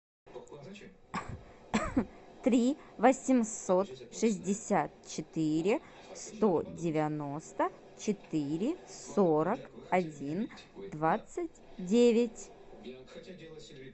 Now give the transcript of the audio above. три восемьсот шестьдесят четыре сто девяносто четыре сорок один двадцать девять